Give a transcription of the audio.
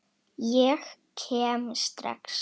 Ég kem rétt strax.